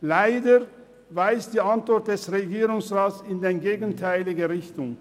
Leider weist die Antwort des Regierungsrats in die gegenteilige Richtung.